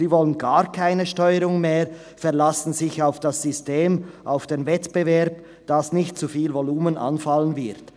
Sie wollen gar keine Steuerung mehr, verlassen sich auf das System, auf den Wettbewerb, dass nicht zu viel Volumen anfallen wird.